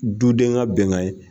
Duden ka bɛnkana ye.